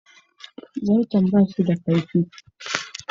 Zarton ba shi da kaifi.